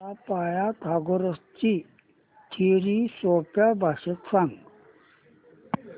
मला पायथागोरस ची थिअरी सोप्या भाषेत सांग